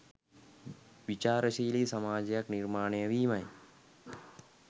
විචාරශීලි සමාජයක් නිර්මාණය වීමයි.